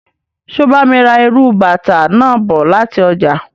So bá mi ra írú bàtà náà bọ láti ọjà.